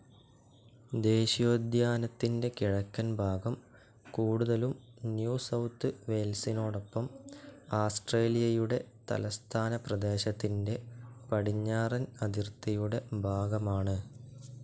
ദേശീയോദ്യാനത്തിൻ്റെ കിഴക്കൻ ഭാഗം കൂടുതലും ന്യൂ സൌത്ത്‌ വെയ്ൽസിനോടൊപ്പം ആസ്ട്രേലിയയുടെ തലസ്ഥാനപ്രദേശത്തിൻ്റെ പടിഞ്ഞാറൻ അതിർത്തിയുടെ ഭാഗ്യമാണ്.